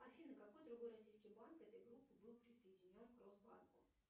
афина какой другой российский банк этой группы был присоединен к росбанку